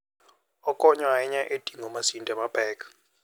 Okonyo ahinya e ting'o masinde mapek.